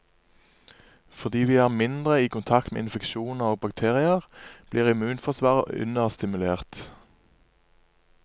Fordi vi er mindre i kontakt med infeksjoner og bakterier, blir immunforsvaret understimulert.